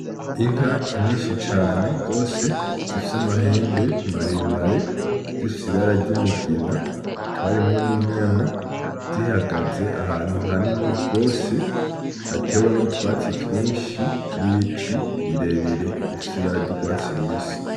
Inka nyinshi cane wose zifise amahembe maremare zifise ibara ry'umugina hakaba arimwo n'inyana zihagaze ahantu hanini rwose hatewemwo utwatsi twinshi n'ibiti birebire ifise ibara ry'urwatsi rubisi.